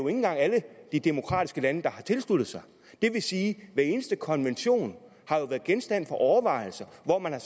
engang alle de demokratiske lande der har tilsluttet sig det vil sige at hver eneste konvention har været genstand for overvejelser hvor man har